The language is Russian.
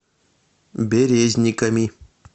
березниками